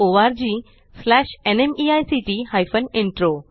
spoken tutorialorgnmeict intro